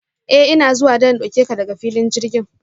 A ina zuwa don in dauke ka daga filin jirgin.